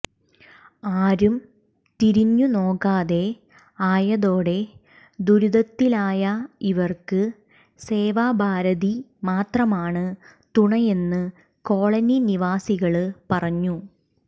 ആരും തിരിഞ്ഞു നോക്കാതെ ആയതോടെ ദുരിതത്തിലായ ഇവര്ക്ക് സേവാഭാരതി മാത്രമാണ് തുണയെന്ന് കോളനി നിവാസികള് പറഞ്ഞു